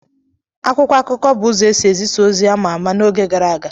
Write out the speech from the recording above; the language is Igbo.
Akwụkwọ akụkọ bụ ụzọ esi ezisa ozi ama ama n'oge gara aga